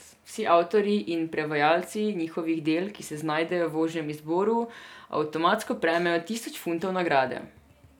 Vsi avtorji in prevajalci njihovih del, ki se znajdejo v ožjem izboru, avtomatsko prejmejo tisoč funtov nagrade.